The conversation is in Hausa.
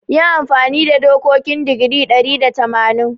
Yi amfani da dokokin digiri ɗari da tamanin.